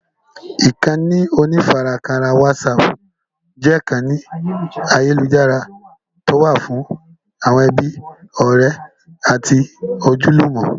Ìkànnì onífarakínra wásààpù jẹ́ ìkànnì ayélujára tí ó wà fún àwọn ẹbí, ọrẹ àti ojúlùmò.